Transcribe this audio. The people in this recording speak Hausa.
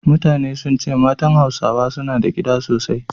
Mutane sun ce matan Hausawa suna da gida sosai